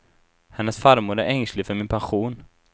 Hennes farmor är ängslig för sin pension.